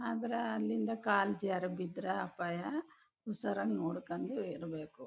ಅದ್ರ ಅಲ್ಲಿಂದ ಕಾಲ್ ಜಾರ್ ಬಿದ್ರಾ ಅಪಾಯ ಉಸಾರಾಗ್ ನೋಡ್ಕಂಡ್ ಏರ್ಬೇಕು.